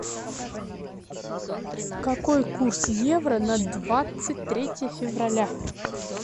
какой курс евро на двадцать третье февраля